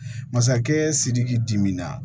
Masakɛ sidiki diminan